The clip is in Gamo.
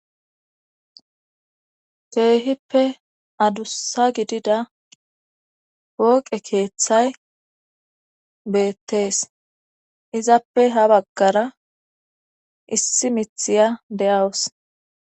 keehippe adussa gidida pooqe keeththay beettees izappe ha baggara issi mithiya de7awus